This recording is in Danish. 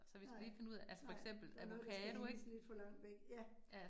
Nej, nej, der noget der skal iles lidt for langt væk, ja